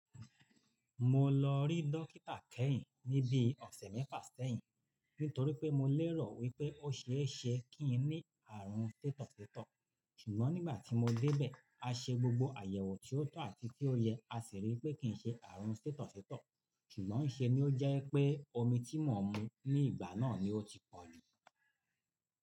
Mo lọ rí dókítà kẹ́yìn ní bií ọ̀sẹ̀ mẹ́fà sẹ́yìn nítorí pé mo lérò wípé o ṣééṣe kí n ní ààrùn sítọ̀sítọ̀. Sùgbón nígbà tí mo dé bẹ̀, a ṣe gbogbo àyẹ̀wò tí ó tọ́ àti tí ó yẹ, a sì ríi pé kì í ṣe ààrùn sítọ̀sítọ̀. Sùgbọ́n níṣe ni ó jẹ́ pé omi tí mò ń mu ní ìgbà náà ni ó ti pọ̀jù.